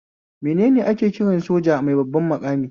Menene ake kiran soja mai babban maƙami?